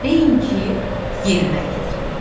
Deyin ki, yerinə yetirim.